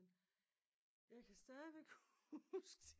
Men jeg kan stadigvæk huske